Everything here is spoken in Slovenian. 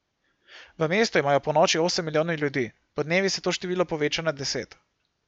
V mestu imajo ponoči osem milijonov ljudi, podnevi se to število poveča na deset.